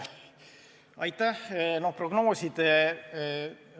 Aitäh!